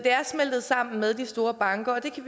er smeltet sammen med de store banker det kan